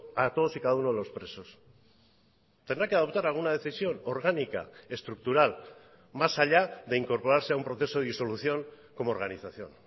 a todos y cada uno de los presos tendrá que adoptar alguna decisión orgánica estructural más allá de incorporarse a un proceso de disolución como organización